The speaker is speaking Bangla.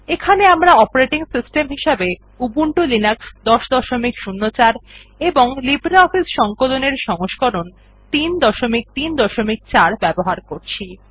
এখানে আমরা অপারেটিং সিস্টেম হিসেবে উবুন্টু লিনাক্স ১০০৪ এবং লিব্রিঅফিস সংকলন এর সংস্করণ ৩৩৪ ব্যবহার করছি